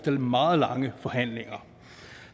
meget lange forhandlinger